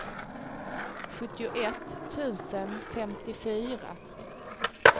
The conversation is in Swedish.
sjuttioett tusen femtiofyra